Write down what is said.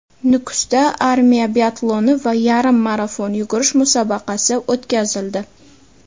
Nukusda armiya biatloni va yarim marafon yugurish musobaqasi o‘tkazildi.